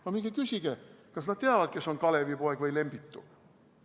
No minge küsige, kas nad teavad, kes on Kalevipoeg või Lembitu.